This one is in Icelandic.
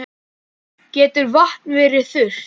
Getur vatn verið þurrt?